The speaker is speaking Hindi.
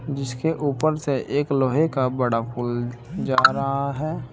जिसके ऊपर से एक लोहे का बड़ा पूल जा रहा है।